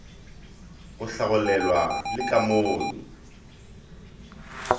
go hlagolelwa le ka mono